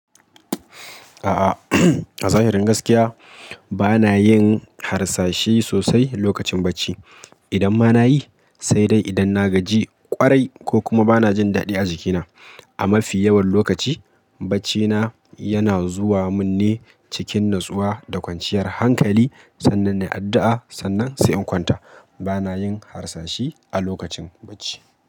A'a, a zahirin gaskiya banayin harsashi sosai lokacin bacci. Idan ma nayi sai dai idan na gaji kwarai ko kuma bana jin daɗi a jikina. A mafi yawan lokaci, baccina yana zuwa mun ne cikin natsuwa da kwanciyar hankali. Sannan nayi addu'a, sannan sai in kwanta. Bana yin harsashi a lokacin bacci.